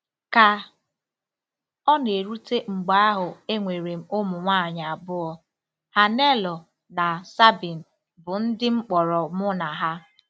Ka ọ na-erute mgbe ahụ enwere m ụmụ nwanyị abụọ, Hannelore na Sabine, bụ́ ndị m kpọrọ mụ na ha.